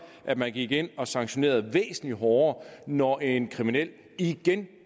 at man gik ind og sanktionerede væsentlig hårdere når en kriminel igen